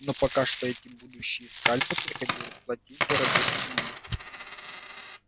но пока что эти будущие скальпы приходилось платить дорогой ценой